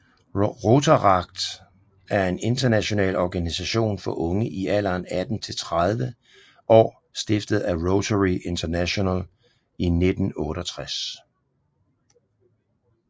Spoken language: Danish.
Rotaract er en international organisation for unge i alderen 18 til 30 år stiftet af Rotary International i 1968